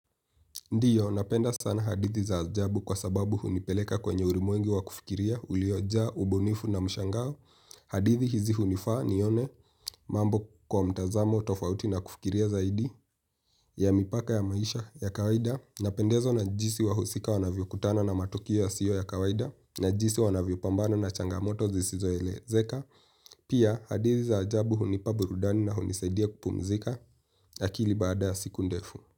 Ndiyo, napenda sana hadithi za ajabu kwa sababu hunipeleka kwenye ulimwengu wa kufikiria uliojaa, ubunifu na mshangao. Hadithi hizi hunifaa nione mambo kwa mtazamo tofauti na kufikiria zaidi ya mipaka ya maisha ya kawaida. Napendezwa na jinsi wahusika wanavyokutana na matukio yasio ya kawaida na jinsi wanavyopambana na changamoto zisizoelezeka. Pia, hadithi za ajabu hunipa burudani na hunisaidia kupumzika. Akili baada ya siku ndefu.